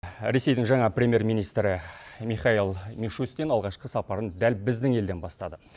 ресейдің жаңа премьер министрі михаил мишустин алғашқы сапарын дәл біздің елден бастады